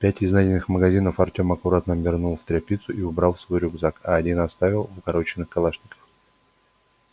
пять из найденных магазинов артем аккуратно обернул в тряпицу и убрал в свой рюкзак а один вставил в укороченный калашников